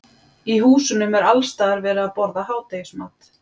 Í húsunum er alls staðar verið að borða hádegismat.